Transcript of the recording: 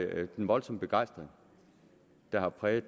været den voldsomme begejstring der har præget